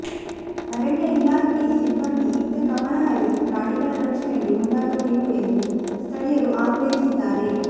ಅರಣ್ಯ ಇಲಾಖೆ ಸಿಬ್ಬಂದಿ ಇತ್ತ ಗಮನಹರಿಸಿ ಪ್ರಾಣಿಗಳ ರಕ್ಷಣೆಗೆ ಮುಂದಾಗಬೇಕು ಎಂದು ಸ್ಥಳೀಯರು ಆಗ್ರಹಿಸಿದ್ದಾರೆ